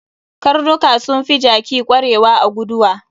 Karnuka sun fi jaki kwarewa a guduwa.